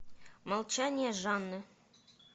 молчание жанны